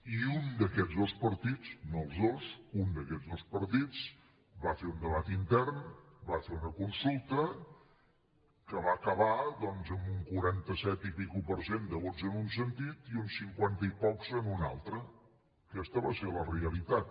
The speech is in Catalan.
i un d’aquests dos partits no els dos un d’aquests dos partits va fer un debat intern va fer una consulta que va acabar doncs amb un quaranta set per cent i escaig de vots en un sentit i un cinquanta i pocs en un altre aquesta va ser la realitat